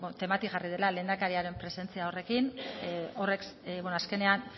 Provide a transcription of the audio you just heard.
temati jarri dela lehendakariaren presentzia horrekin horrek azkenean